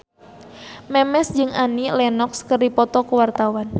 Memes jeung Annie Lenox keur dipoto ku wartawan